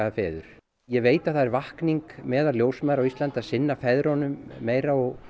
feður ég veit að það er vakning meðal ljósmæðra á Íslandi að sinna feðrunum meira og